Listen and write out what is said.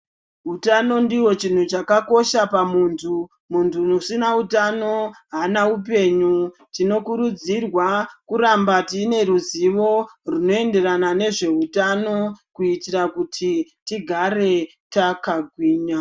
Hutano ndiwo chinhu chakakosha pamuntu muntu usina hutano hapana upenyu tinokurudzirwa kuramba tine ruzivo rinoenderana nezvehutano kuitira kuti tigare takagwinya.